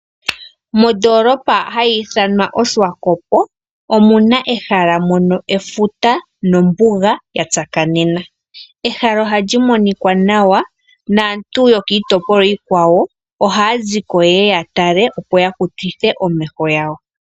Mondolopa hayi ithanwa oSwakop omuna ehala mono efuta nombuga ya tsakanena. Ehala ohalyi monikwa nawa. Naantu yokiitopolwa iikwawo ohaa ziko yeye ya tale ya kutithe omeho gawo.